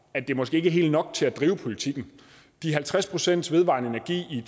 at det måske ikke helt er nok til at drive politikken de halvtreds pcts vedvarende energi i